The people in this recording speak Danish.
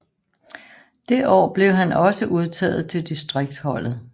Det år blev han også udtaget til distriktsholdet